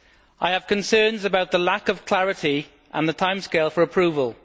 I have concerns about the lack of clarity and the timescale for approval.